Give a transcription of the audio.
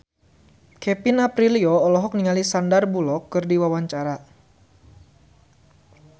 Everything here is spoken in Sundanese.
Kevin Aprilio olohok ningali Sandar Bullock keur diwawancara